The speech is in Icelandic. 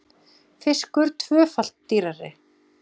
Fiskur tvöfalt dýrari